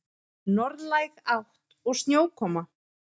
Norðlæg átt og snjókoma